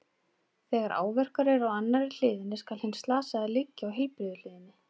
Þegar áverkar eru á annarri hliðinni, skal hinn slasaði liggja á heilbrigðu hliðinni.